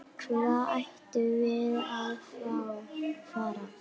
Hvert ættum við að fara?